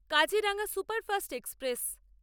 Kaziranga superfast express